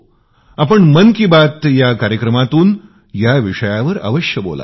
आपण मन की बात या कार्यक्रमातून या विषयावर अवश्य बोलावे